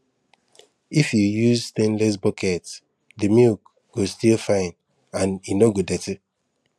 if you use stainless bucket the milk go still fine and no go dirty